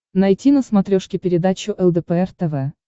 найти на смотрешке передачу лдпр тв